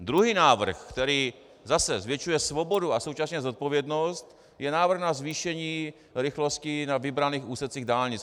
Druhý návrh, který zase zvětšuje svobodu a současně zodpovědnost, je návrh na zvýšení rychlosti na vybraných úsecích dálnic.